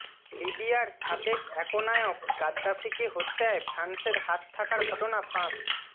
লিবিয়ার সাবেক একনায়ক গাদ্দাফিকে হত্যায় ফ্রান্সের হাত থাকার ঘটনা ফাঁস